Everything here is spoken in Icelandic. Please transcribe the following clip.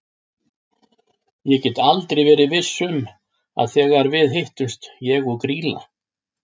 Ég get aldrei verið viss um að þegar við hittumst ég og Grýla.